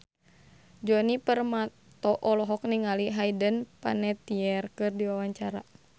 Djoni Permato olohok ningali Hayden Panettiere keur diwawancara